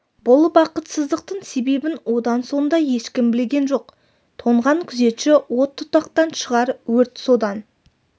бұл бақытсыздықтың себебін одан соң да ешкім білген жоқ тоңған күзетші от тұтатқан шығар өрт содан